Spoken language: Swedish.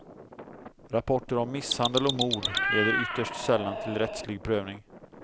Rapporter om misshandel och mord leder ytterst sällan till rättslig prövning.